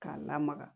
K'a lamaga